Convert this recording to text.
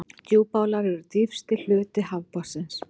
Djúpálar eru dýpsti hluti hafsbotnsins.